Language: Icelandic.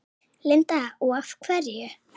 Linda: Og af hverju?